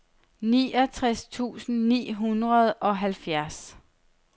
niogtres tusind ni hundrede og halvfjerds